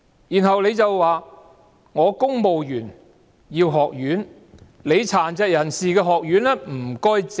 然後，他說公務員需要一間學院，請殘疾人士的學院讓路。